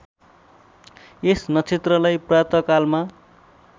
यस नक्षत्रलाई प्रातःकालमा